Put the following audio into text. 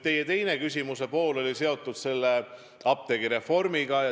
Teie küsimuse teine pool oli seotud apteegireformiga.